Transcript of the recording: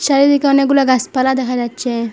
চারিদিকে অনেকগুলা গাসপালা দেখা যাচ্ছে।